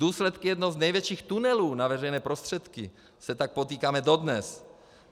Důsledky - jedno z největších tunelů na veřejné prostředky se tak potýkáme dodnes.